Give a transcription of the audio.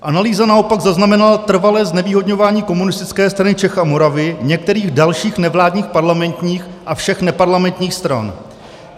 "Analýza naopak zaznamenala trvalé znevýhodňování Komunistické strany Čech a Moravy, některých dalších nevládních parlamentních a všech neparlamentních stran."